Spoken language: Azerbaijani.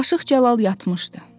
Aşıq Cəlal yatmışdı.